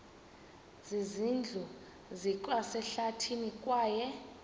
zindlu zikwasehlathini kwaye